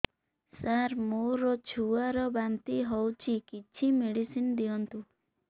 ସାର ମୋର ଛୁଆ ର ବାନ୍ତି ହଉଚି କିଛି ମେଡିସିନ ଦିଅନ୍ତୁ